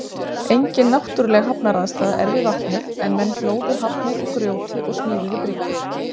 Engin náttúrleg hafnaraðstaða er við vatnið en menn hlóðu hafnir úr grjóti og smíðuðu bryggjur.